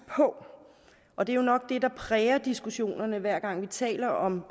på og det er jo nok det der præger diskussionerne hver gang vi taler om